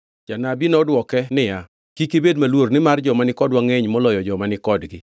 Janabi nodwoke niya, “Kik ubed maluor, nimar joma ni kodwa ngʼeny moloyo joma ni kodgi.”